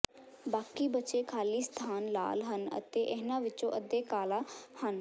ਬਾਕੀ ਬਚੇ ਖਾਲੀ ਸਥਾਨ ਲਾਲ ਹਨ ਅਤੇ ਇਨ੍ਹਾਂ ਵਿੱਚੋਂ ਅੱਧੇ ਕਾਲਾ ਹਨ